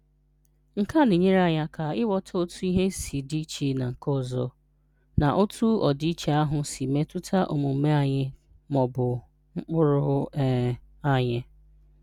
Nke a na-enyere anyi ịghọta otu ihe si dị iche na nke ọzọ, na otu ọdịiche ahụ si metụta omume anyị ma ọ bụ mkpụrụ um anyị.